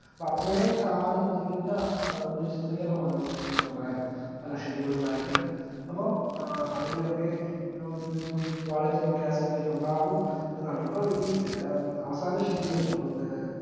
അപ്പോ അത്രെയും കാലം നീണ്ട ഏഹ് ഒരുചിത്രീകരണമാണ് ഈ cinema ക്ക് ഉണ്ടായത് പല schedule കളായിട്ട് അപ്പം ഏർ അതിന്റെ ഒക്കെ ഓരൊരു quality ഒക്കെ ഉണ്ടാകും എന്നാണ് ഇപ്പൊ ഈ മ് അവസാന schedule ഏർ